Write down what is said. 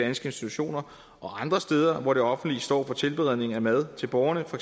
institutioner og andre steder hvor det offentlige står for tilberedningen af mad til borgerne for